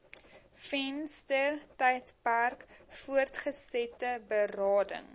venstertydperk voortgesette berading